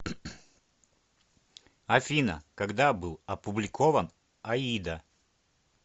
афина когда был опубликован аида